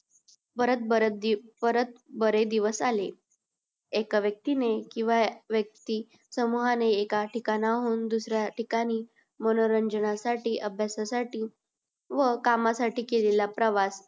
परत बरं परत बरे दिवस आले एका व्यक्ती ने किंव्हा व्यक्ती समूहाने एका ठिकाणाहून दुसऱ्या ठिकाणी मनोरंजना साठी अभ्यासा साठी व कामा साठी केलेला प्रवास